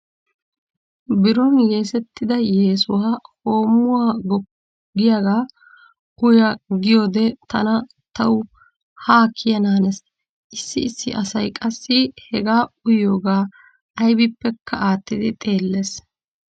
Biron yeesettida yeesuwa hoommuwa goppu giyaagaa uya giyoodee tana tawu haa kiyanaanes. Issi issi asay qassi heegaa uyiyoogaa aybippekka aattidi xeellees.